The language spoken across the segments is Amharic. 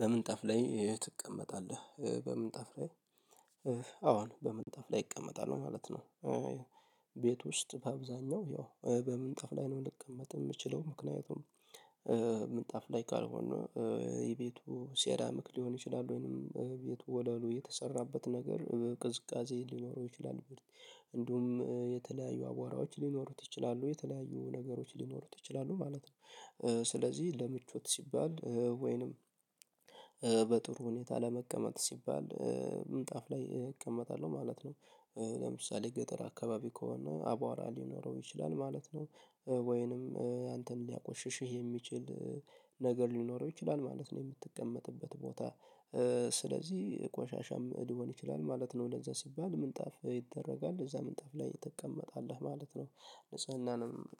በምንጣፍ ላይ ትቀመጣለህ? በምንጣፍ ላይ አዎ በምንጣፍ ላይ እቀመጣለሁ ማለት ነው። ቤት ውስጥ በአብዛኛው ያው በምንጣፍ ላይ ነው ልቀመጥ የምችለው ምክንያቱም ምንጣፍ ላይ ካልሆነ የቤቱ ሴራሚክ ሊሆን ይችላል ወይንም ቤቱ ወለሉ የተሰራበት ነገር ቅዝቃዜ ሊኖረው ይችላል እንዲሁም የተለያዩ አቧራዎች ሊኖሩት ይችላሉ የተለያዩ ነገሮች ሊኖሩት ይችላሉ ማለት ነው። ስለዚህ ለምቾት ሲባል ወይም በጥሩ ሁኔታ ለመቀመጥ ሲባል ምንጣፍ ላይ እቀመጣለሁ ማለት ነው። ለምሳሌ ገጠር አካባቢ ከሆነ አቧራ ሊኖረው ይችላል ማለት ነው። ወይም አንተን ሊያቆሽሽህ የሚችል ነገር ሊኖረው ይችላል ማለት ነው የምትቀመጥበት ቦታ ስለዚህ ቆሻሻም ሊሆን ይችላል ማለት ነው እንደዚያ ሲባል ምንጣፍ ይደረጋል እዚያ ምንጣፍ ላይ ትቀመጣለህ ማለት ነው።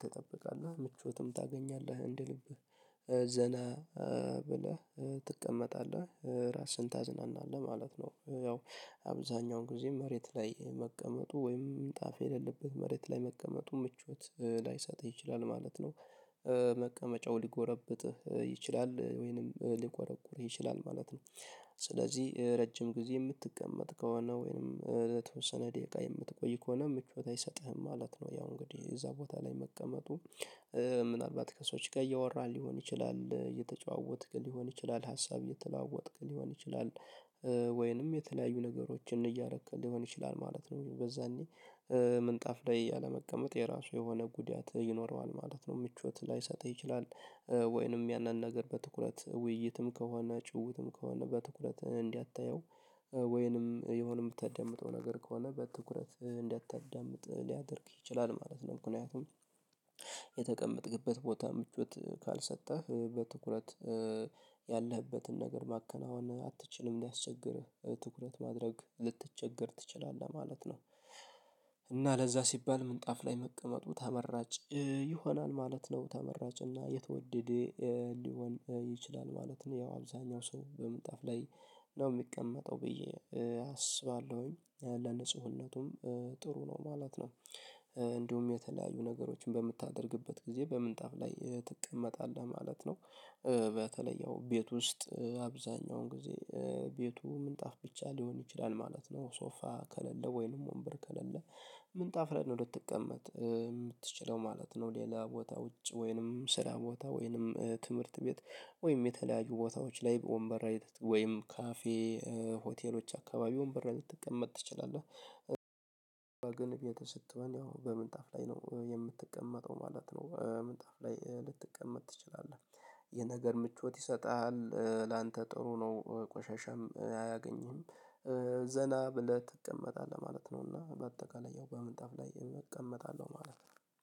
ትጠብቃለህ ምቾትም ታገኛለህ እንደ ልብህ ዘና ብለህ ትቀመጣለህ ራስህን ታዝናናለህ ማለት ነው። ያው አብዛኛውን ጊዜ መሬት ላይ መቀመጡ ወይም ምንጣፍ የሌለበት መሬት ላይ መቀመጡ ምቾት ላይሰጥ ይችላል ማለት ነው። መቀመጫው ሊጎረብጥህ ይችላል ወይም ሊቆረቁርህ ይችላል ማለት ነው። ስለዚህ ረጅም ጊዜ የምትቀመጥ ከሆነ ወይም ለተወሰነ ደቂቃ የምትቆይ ከሆነ ምቾት አይሰጥህም ማለት ነው። ያው እንግዲህ እዚያ ቦታ ላይ መቀመጡ ምናልባት ከሰዎች ጋር እያወራን ሊሆን ይችላል እየተጨዋወትክ ሊሆን ይችላል ሀሳብ እየተለዋወጥክ ሊሆን ይችላል ወይም የተለያዩ ነገሮችን እያደረክ ሊሆን ይችላል ማለት ነው። በዛኔ ምንጣፍ ላይ አለመቀመጥ የራሱ የሆነ ጉዳት ይኖረዋል ማለት ነው። ምቾት ላይሰጥህ ይችላል ወይም ያንን ነገር በትኩረት ውይይትም ከሆነ ጭውዉትም ከሆነ በትኩረት እንዳታየው ወይም የሆነ የምትዳምጠው ነገር ከሆነ በትኩረት እንዳታዳምጥ ሊያደርግ ይችላል ማለት ነው። ምክንያቱም የተቀመጥክበት ቦታ ምቾት ካልሰጠህ በትኩረት ያለህበትን ነገር ማከናወን አትችልም ሊያስቸግርህ ትኩረት ማድረግ ልትቸገር ትችላለህ ማለት ነው። እና ለዚያ ሲባል ምንጣፍ ላይ መቀመጡ ተመራጭ ይሆናል ማለት ነው ተመራጭ እና የተወደደ ሊሆን ይችላል ማለት ነው። ያው አብዛኛው ሰው በምጣፍ ላይ ነው የሚቀመጠው ብዬ አስባለሁ ለንጽህናውም ጥሩ ነው ማለት ነው። እንዲሁም የተለያዩ ነገሮችን በምታደርግበት ጊዜ በምንጣፍ ላይ ትቀመጣለህ ማለት ነው። በተለይ ያው ቤት ውስጥ አብዛኛውን ጊዜ ቤቱ ምንጣፍ ብቻ ሊሆን ይችላል ማለት ነው። ሶፋ ከሌለ ወይንም ወንበር ከሌለ ምን ምንጣፍ ላይ ነው ልትቀመጥ የምትችለው ማለት ነው። ሌላ ቦታ ውጭ ወይም ስራ ቦታ ወይም ትምህርት ቤት ወይም የተለያዩ ቦታዎች ላይ በወንበር ወይም ካፌ ሆቴሎች አካባቢ ወንበር ላይ ልትቀመጥ ትችላለህ። ግን ቤት ስትሆን ያው በምንጣፍ ላይ ነው የምትቀመጠው ማለት ነው ምጣፍ ላይ ልትቀመጥ ትችላለህ። ይህ ነገር ምቾት ይሰጥሃል ላንተ ጥሩ ነው ቆሻሻም አያገኝህም ዘና ብለህ ትቀመጣለህ ማለት ነው። እና በአጠቃላይ ያው በምንጣፍ ላይ እቀመጣለሁ ማለት ነው